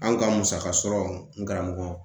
Anw ka musaka sɔrɔ n karamɔgɔ